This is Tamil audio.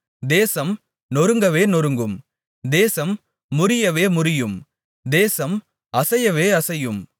தேசம் நொறுங்கவே நொறுங்கும் தேசம் முறியவே முறியும் தேசம் அசையவே அசையும்